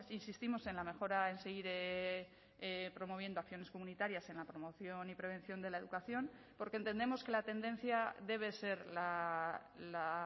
insistimos en la mejora en seguir promoviendo acciones comunitarias en la promoción y prevención de la educación porque entendemos que la tendencia debe ser la